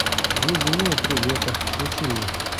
две зимы и три лета включи мне